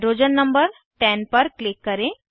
hydrogen number 10 पर click करें